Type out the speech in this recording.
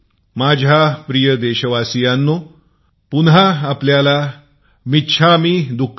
माझ्या प्रिय देशवासियांनो पुन्हा आपल्याला मिच्छामी दुक्कडम